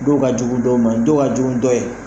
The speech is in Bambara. Dɔw ka jugu dɔw ma dɔw ka jugu dɔw ye